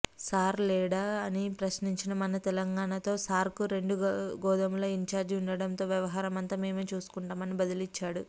sir లేడా అని ప్రశ్నించిన మనతెలంగాణతో సార్కు రెండు గోదాముల ఇన్చార్జి ఉండడంతో వ్యవహారమంతా మేమే చూసుకుంటామని బదులిచ్చాడు